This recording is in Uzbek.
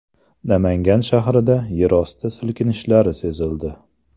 Namangan shahrida yerosti silkinishlari sezildi.